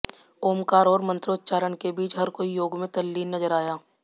ओमकार और मंत्रोच्चारण के बीच हर कोई योग में तल्लीन नजर आया